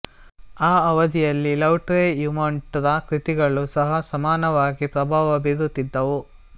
ಆ ಅವಧಿಯಲ್ಲಿ ಲೌಟ್ರೆಯಮೊಂಟ್ ರ ಕೃತಿಗಳೂ ಸಹ ಸಮಾನವಾಗಿ ಪ್ರಭಾವ ಬೀರುತ್ತಿದ್ದವು